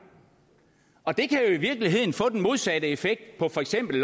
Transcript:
og det kan i virkeligheden få den modsatte effekt for eksempel